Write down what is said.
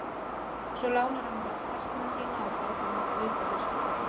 Svo lánar hann mér oft hestana sína og borgar mér kaup á haustin.